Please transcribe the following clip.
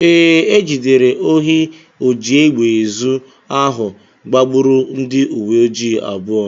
Ee, e jidere ohi ojiegbeezu ahụ gbagburu ndị uwe ojii abụọ